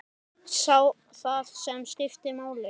Sá það sem skipti máli.